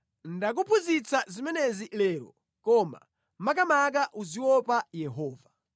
Ndakuphunzitsa zimenezi lero koma makamaka uziopa Yehova.